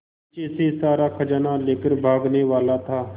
पीछे से सारा खजाना लेकर भागने वाला था